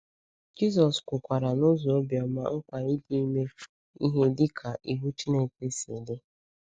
Jisọs kwukwara n’ụzọ obiọma mkpa ịdị ime ihe dịka iwu Chineke si dị.